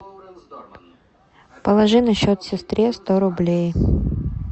положи на счет сестре сто рублей